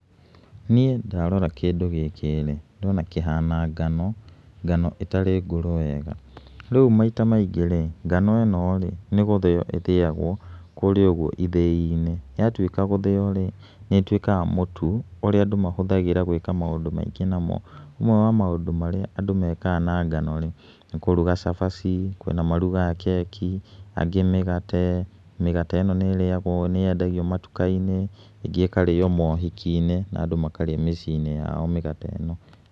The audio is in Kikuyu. Niĩ ndarora kĩndũ gĩkĩ rĩ, ndĩrona kĩhana ngano, ngano ĩtarĩ ngũrũ wega, rĩu maita maingĩ rĩ, ngano ĩno rĩ, nĩ gũthĩyo ĩthĩyagwo kũrĩa ũguo ithĩi-inĩ, yatuĩka gũthĩyo rĩ nĩ ĩtuĩkaga mũtũ, ũrĩa andũ mahũthagĩra maũndũ maingĩ namo, ũmwe wa maũndũ maríĩ andũ mekaga na ngo nĩ kũruga cabaci, kwĩna marugaga keki, angĩ mĩgate, mĩgate ĩno nĩ yendagio matuka-inĩ, ĩngĩ ĩkarĩo maũhiki-inĩ na andũ makarĩa mĩciĩ-inĩ yao mĩgate ĩno.